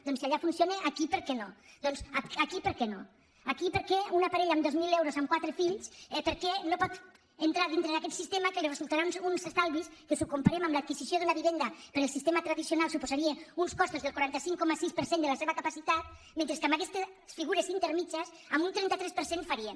doncs si allà funciona aquí per què no doncs aquí per què no aquí per què una parella amb dos mil euros amb quatre fills per què no pot entrar dintre d’aquest sistema que li resultarà uns estalvis que si ho comparem amb l’adquisició d’una vivenda pel sistema tradicional suposaria uns costos del quaranta cinc coma sis per cent de la seva capacitat mentre que amb aquestes figures intermèdies amb un trenta tres per cent farien